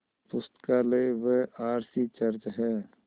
पुस्तकालय व R C church हैं